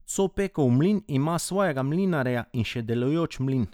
Copekov mlin ima svojega mlinarja in še delujoč mlin.